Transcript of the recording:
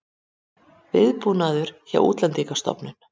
Viðbúnaður hjá Útlendingastofnun